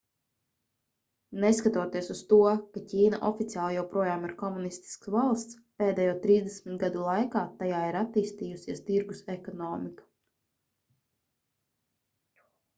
neskatoties uz to ka ķīna oficiāli joprojām ir komunistiska valsts pēdējo trīsdesmit gadu laikā tajā ir attīstījusies tirgus ekonomika